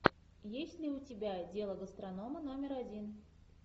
есть ли у тебя дело гастронома номер один